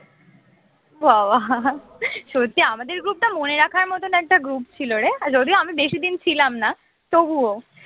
বা বা সত্যি আমাদের group টা মনে রাখার মতন একটা group ছিল রে যদিও আমি বেশি দিন ছিলাম না তবুও